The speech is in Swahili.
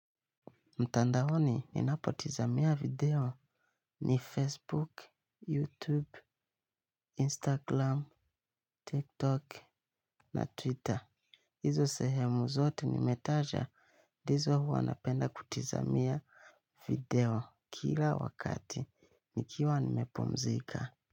Mtandaoni, ninapotizamia video ni Facebook, Youtube, Instaglam, TikTok na Twitter. Izo sehemu zote nimetaja, dizo huwa napenda kutizamia video kila wakati. Nikiwa nimepumzika.